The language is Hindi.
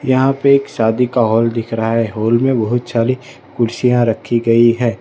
यहां पे एक शादी का हाल दिख रहा है हाल में बहुत छारी कुर्सियां रखी गई है।